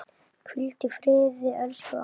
Hvíldu í friði elsku amma.